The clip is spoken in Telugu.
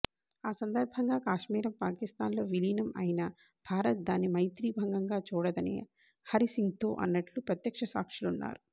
ఆ సందర్భంగా కాశ్మీరం పాకిస్తాన్ లో విలీనం అయినా భారత్ దాన్ని మైత్రిభంగంగా చూడదని హరిసింగ్తో అన్నట్టు ప్రత్యక్ష సాక్షులున్నారు